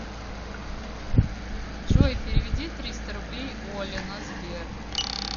джой переведи триста рублей оле на сбер